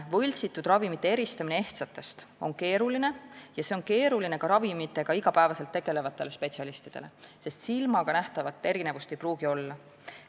Võltsitud ravimite eristamine ehtsatest on keeruline ja see on keeruline ka ravimitega iga päev tegelevatele spetsialistidele, sest silmaga nähtavat erinevust ei pruugi olla.